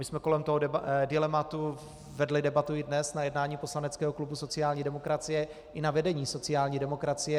My jsme kolem toho dilematu vedli debatu i dnes na jednání poslaneckého klubu sociální demokracie i na vedení sociální demokracie.